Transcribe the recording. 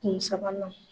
Kun sabanan